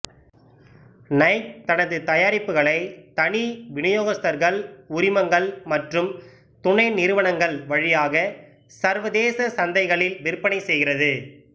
Nike தனது தயாரிப்புகளை தனி விநியோகஸ்தர்கள் உரிமங்கள் மற்றும் துணைநிறுவனங்கள் வழியாக சர்வதேச சந்தைகளில் விற்பனை செய்கிறது